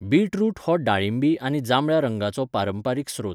Beetroot हो डाळिंबी आनी जांबळ्या रंगाचो पारंपारीक स्रोत.